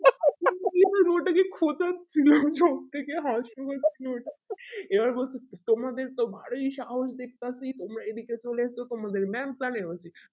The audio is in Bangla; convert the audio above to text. ওটাকে খোঁচাচ্ছি সব থেকে হাসি হচ্ছে এবার বলছে তোমাদেরতো ভারী সাহস দেখতাছি তোমরা এই দিকে চলে এস তোমাদের mam জানে